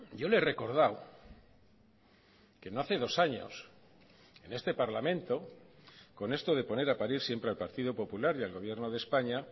yo le he recordado que no hace dos años en este parlamento con esto de poner a parir siempre al partido popular y al gobierno de españa